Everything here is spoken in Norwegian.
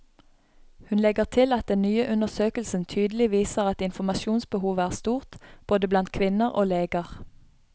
Hun legger til at den nye undersøkelsen tydelig viser at informasjonsbehovet er stort, både blant kvinner og leger.